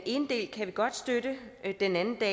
ene del kan vi godt støtte den anden del